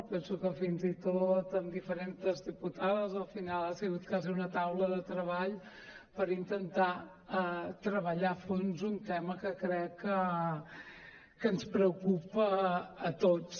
penso que fins i tot amb diferents diputades al final ha sigut quasi una taula de treball per intentar treballar a fons un tema que crec que ens preocupa a tots